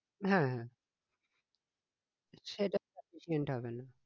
হ্যাঁ হ্যাঁ সেটা sufficient হবেনা